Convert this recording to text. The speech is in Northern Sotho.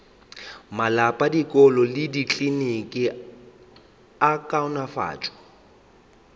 malapa dikolo le dikliniki kaonafatšo